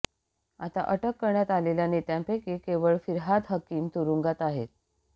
आता अटक करण्यात आलेल्या नेत्यांपैंकी केवळ फिरहाद हकीम तुरुंगात आहेत